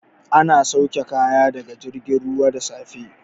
An sauke kaya daga jirgin ruwa da safe.